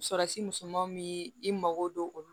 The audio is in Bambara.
Surasi misɛnmanw bi i mago don olu la